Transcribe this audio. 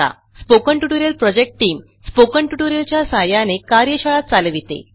spoken tutorial project team spoken tutorial च्या सहाय्याने कार्यशाळा चालविते